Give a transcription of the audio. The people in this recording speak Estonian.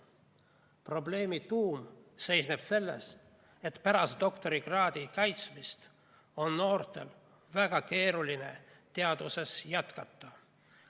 Probleemi tuum seisneb selles, et pärast doktorikraadi kaitsmist on noortel väga keeruline teaduses jätkata.